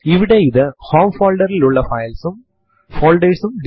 നമ്മൾ കാണുന്നതുപോലെ date command തീയതിയും സമയവും കൂടിയാണ് തരുന്നത്